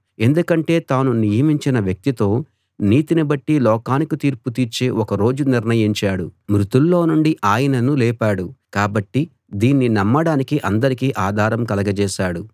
ఎందుకంటే తాను నియమించిన వ్యక్తితో నీతిని బట్టి లోకానికి తీర్పు తీర్చే ఒక రోజు నిర్ణయించాడు మృతుల్లో నుండి ఆయనను లేపాడు కాబట్టి దీన్ని నమ్మడానికి అందరికీ ఆధారం కలగజేశాడు